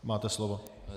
Máte slovo.